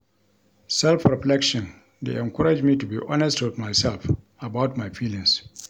Self-reflection dey encourage me to be honest with myself about my feelings.